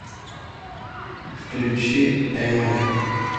включи эминэм